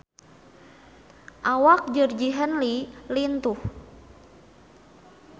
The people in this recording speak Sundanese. Awak Georgie Henley lintuh